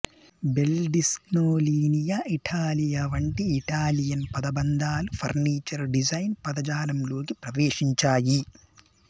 bell డిస్గ్నో లీనియా ఇటాలియా వంటి ఇటాలియన్ పదబంధాలు ఫర్నిచర్ డిజైన్ పదజాలంలోకి ప్రవేశించాయి